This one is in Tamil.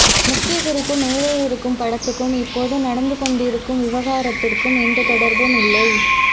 முக்கிய குறிப்பு மேலே இருக்கும் படத்துக்கும் இப்போது நடந்துகொண்ண்டிருக்கும் விவகாரத்துக்கும் எந்த தொடர்பும் இல்லை